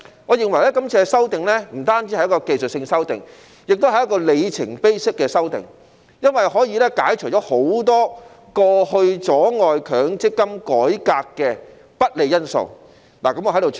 我認為這次修訂不止是技術性修訂，也是一個里程碑式的修訂，因為可以排除很多過去阻礙強積金改革的不利因素。